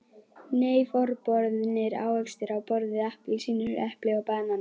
Nei, forboðnir ávextir á borð við appelsínur, epli og banana.